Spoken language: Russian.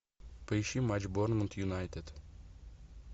поищи матч борнмут юнайтед